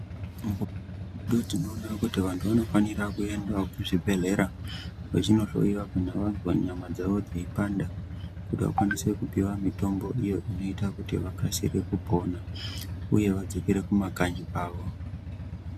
Mukupona tinoona kuti vantu vanofanira kuenda ku zvibhedhlera ve chino hloyiwa kunyari vazwa nyama dzavo dzeyi panda dzei panda kuti vakwanise kupihwa mutombo uyo unoita kuti vakasire kupora uye vadzokera ku makanyi kwavo.